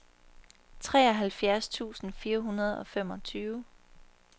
treoghalvfjerds tusind fire hundrede og femogtyve